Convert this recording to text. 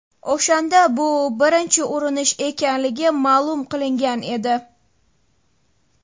O‘shanda bu birinchi urinish ekanligi ma’lum qilingan edi.